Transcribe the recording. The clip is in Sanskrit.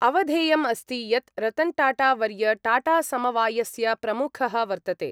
अवधेयमस्ति यत् रतन्टाटावर्य टाटासमवायस्य प्रमुखः वर्तते।